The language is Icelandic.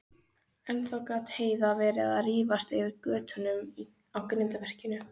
Ennþá gat Heiða verið að rífast yfir götunum á grindverkinu.